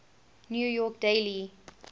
new york daily